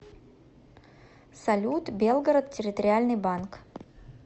салют белгород территориальный банк